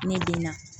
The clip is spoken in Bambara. Ne den na